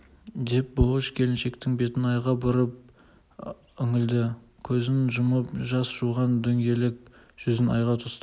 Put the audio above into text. деп бұлыш келіншектің бетін айға бұрып үңілді көзін жұмып жас жуған дөңгелек жүзін айға тосты